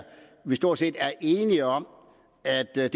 vi stort set er enige om at hvad